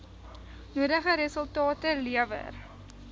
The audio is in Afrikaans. nodige resultate lewer